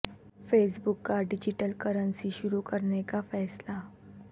face بک کا digital currency شروع کرنے کا فیصلہ